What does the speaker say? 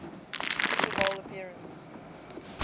super bowl appearance